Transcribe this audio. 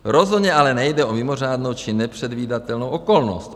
Rozhodně ale nejde o mimořádnou či nepředvídatelnou okolnost.